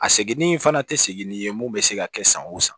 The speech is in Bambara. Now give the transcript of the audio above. A seginni in fana tɛ segini ye mun bɛ se ka kɛ san o san